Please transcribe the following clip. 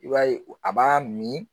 I b'a ye a b'a min